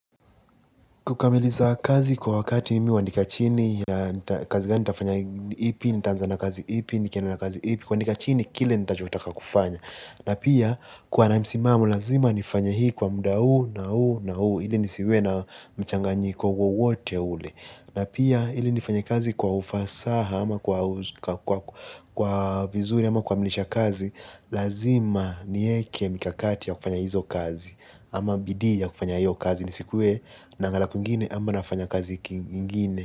Kukamiliza kazi kwa wakati mi huandika chini, kazi gani nitafanya ipi nitaanza na kazi ipi nikienda na kazi ipi kuandika chini kile nitachotaka kufanya. Na pia kuwa na msimamo lazima nifanye hii kwa muda huu na huu na huu. Ili nisiwe na mchanganyiko wowote ule. Na pia ili nifanye kazi kwa ufasaha ama kwa vizuri ama kukamilisha kazi. Lazima nieke mikakati ya kufanya hizo kazi. Ama bidiaya kufanya hiyo kazi nisikuwe naangalia kwingine ama nafanya kazi ingine.